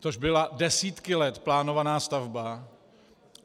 Což byla desítky let plánovaná stavba.